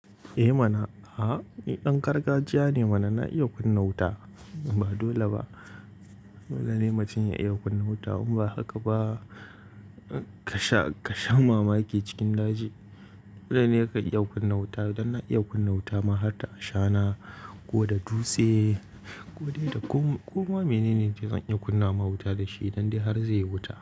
Eh mana, ah ni ɗan gargajiya ne mana na iya kunna wuta. Ba dole ba, dole ne matum ya iya kunna wuta. In ba haka ba kasha, ƙasha mamaki cikin daji. Dole ne ya iya kunna wuta, idan na iya kunna wuta ma har da ashana, ko da dutse ko dai da ƙuma. Kuma menene dai zan iya kunna ma wuta da shi don dai har zai yi wuta.